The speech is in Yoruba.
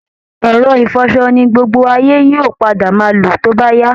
Ẹ̀rọ ìfọṣọ ni gbogbo ayé yóò padà máa lò tóbá yá